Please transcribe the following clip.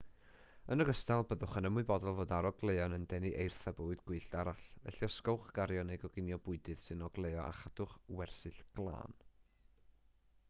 yn ogystal byddwch yn ymwybodol fod arogleuon yn denu eirth a bywyd gwyllt arall felly osgowch gario neu goginio bwydydd sy'n ogleuo a chadwch wersyll glân